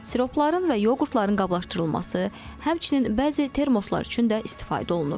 Siropların və yoğurtların qablaşdırılması, həmçinin bəzi termoslar üçün də istifadə olunur.